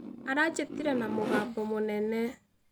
Aranjĩtire na mũgambo mũnene.